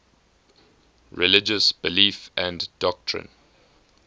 religious belief and doctrine